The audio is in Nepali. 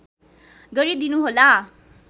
गरिदिनु होला